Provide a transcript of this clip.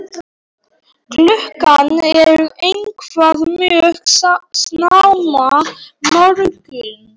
Klukkan er eitthvað mjög snemma morguns.